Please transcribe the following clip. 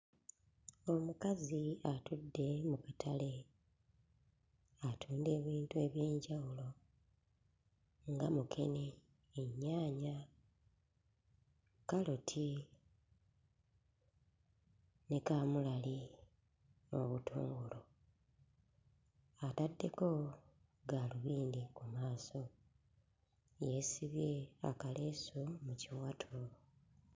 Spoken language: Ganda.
Omukazi atudde mu katale, atunda ebintu eby'enjawulo nga mukene ennyaanya, kkaloti ne kaamulali n'obutungulu, ataddeko gaalubindi ku maaso, yeesibye akaleesu mu kiwato.